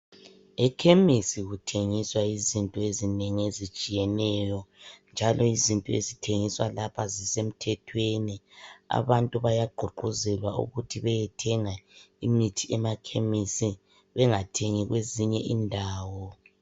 Ekhemisi kuthengiswa izinto ezinengi ezitshiyeneyo njalo izinto ezithengiswa lapha zisemthethweni. Abantu bayagqugquzelwa ukuthi beyethenga imithi emakhemisi bengathengi kwezinye indawo.